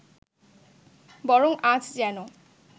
বরং আজ যেন